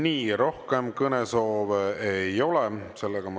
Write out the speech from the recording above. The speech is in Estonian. Nii, rohkem kõnesoove ei ole.